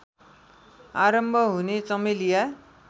आरम्भ हुने चमेलिया